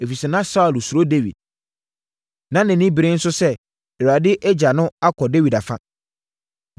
ɛfiri sɛ na Saulo suro Dawid, na nʼani bere no nso sɛ, Awurade agya no akɔ Dawid afa.